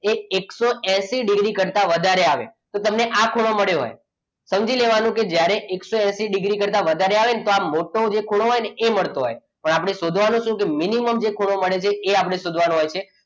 એ એકસો એસી ડિગ્રી કરતાં વધારે આવે તો તમને આ ખૂણો મળ્યો હોય સમજી લેવાનું કે જ્યારે એકસો એસી ડિગ્રી કરતાં વધારે આવે ને ત્યારે જે આ મોટો ખૂણો હોય ને એ મળતો હોય પણ આપણે શોધવાનું શું કે minimum જે ખૂણો મળે છે એ આપણે શોધવાનો હોય છે.